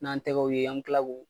N'an tɛgɛw ye an bɛ tila k'u